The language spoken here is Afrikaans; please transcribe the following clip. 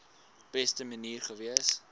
beste manier gewees